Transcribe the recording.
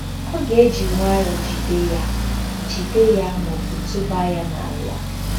Ọ ga-eji nwayọọ jide ya jide ya ma ọ bụ tụba ya n'ala?